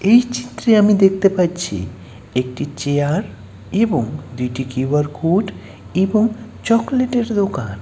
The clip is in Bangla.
এই চিত্রে আমি দেখতে পাচ্ছিএকটি চেয়ার - এবং দুইটি কিউ_আর কোড- এবং চকলেটের দোকান।